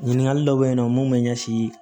Ɲininkali dɔ bɛ yen nɔ mun bɛ ɲɛsin